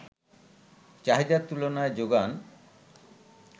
চাহিদার তুলনায় যোগান